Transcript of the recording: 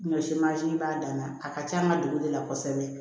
Ɲɔ si b'a dan na a ka ca an ka dugu de la kosɛbɛ